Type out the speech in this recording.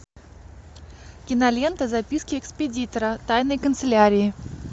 кинолента записки экспедитора тайной канцелярии